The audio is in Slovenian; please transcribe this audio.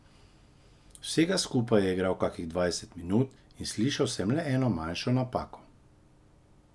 Vsega skupaj je igral kakih dvajset minut in slišal sem le eno manjšo napako.